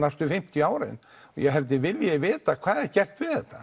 næstu fimmtíu árin og ég held að þau vilji vita hvað er gert við þetta